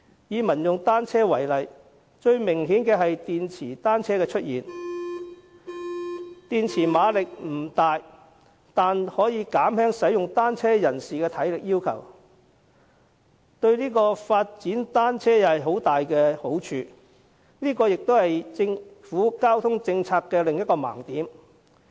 以民用單車為例，最明顯的是電池單車的出現，電池馬力不大，但可以減輕使用單車人士的體力要求，對於發展單車大有好處，這也是政府交通政策的另一盲點。